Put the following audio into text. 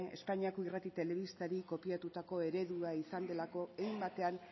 espainiako irrati telebistari kopiatutako eredua izan delako hein batean